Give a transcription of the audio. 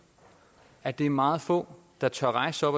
at det er meget få der tør rejse